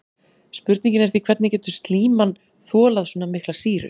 Spurningin er því hvernig getur slíman þolað svona mikla sýru?